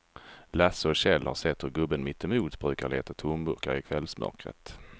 Lasse och Kjell har sett hur gubben mittemot brukar leta tomburkar i kvällsmörkret.